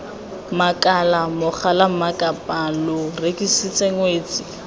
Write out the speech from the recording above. makala mogalammakapaa lo rekisitse ngwetsi